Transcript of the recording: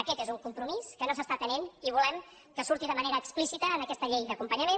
aquest és un compromís que no s’està atenent i volem que surti de manera explícita en aquesta llei d’acompanyament